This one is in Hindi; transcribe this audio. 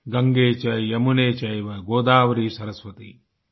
गंगे च यमुने चैव गोदावरि सरस्वती आई